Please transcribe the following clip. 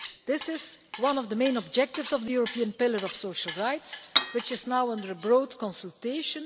This is one of the main objectives of the European Pillar of Social Rights, which is now the subject of a broad consultation.